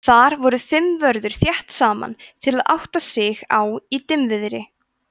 þar voru fimm vörður þétt saman til að átta sig á í dimmviðri